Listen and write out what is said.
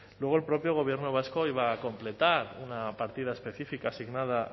luego el propio gobierno vasco iba a completar una partida específica asignada